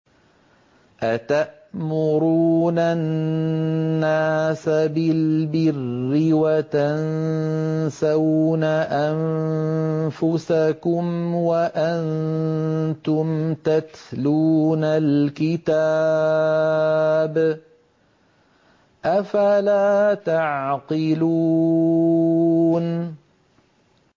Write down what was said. ۞ أَتَأْمُرُونَ النَّاسَ بِالْبِرِّ وَتَنسَوْنَ أَنفُسَكُمْ وَأَنتُمْ تَتْلُونَ الْكِتَابَ ۚ أَفَلَا تَعْقِلُونَ